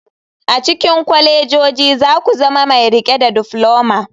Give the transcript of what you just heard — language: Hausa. A cikin kwalejoji za ku zama mai riƙe da difloma.